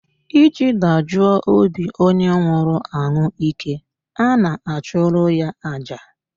Iji dajuo obi onye nwụrụ ọnwụ ike, a na-achụrụ ya aja